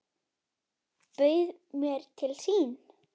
Bauð mér til sín.